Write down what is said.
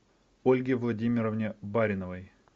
ольге владимировне бариновой